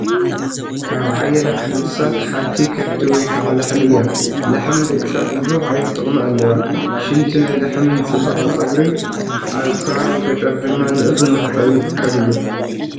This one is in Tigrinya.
ካብ ዓይነታት እንስሳታት ሓንቲ ከፍቲ ወይ ከዓ ላሕሚ እያ፡፡ ላሕሚ ንደቂ ሰባት ብዙሕ ዓይነት ጥቕሚ ኣለዋ፡፡ ሽንቲ ናይ ላሕሚ ንፅባቐ ፀጉሪን ኣብ ከባቢ ገጠር ድማ ንእኽሊ መሕፀቢ ይጥቀምሉ፡፡